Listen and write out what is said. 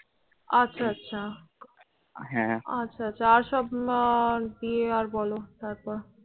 আচ্ছা আচ্ছা, হাঁ, আচ্ছা আর সব আহ দিয়ে আর বলো তারপর।